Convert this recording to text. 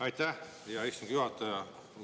Aitäh, hea istungi juhataja!